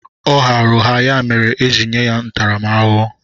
Ọ ghara ụgha ya mere eji nye ya ntaramahụhụ.